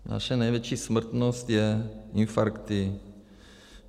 Naše největší smrtnost jsou infarkty.